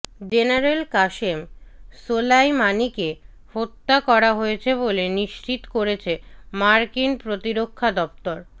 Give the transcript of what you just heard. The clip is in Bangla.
জেনারেল কাসেম সোলাইমানিকে হত্যা করা হয়েছে বলে নিশ্চিত করেছে মার্কিন প্রতিরক্ষা দপ্তর